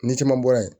Ni caman bɔra yen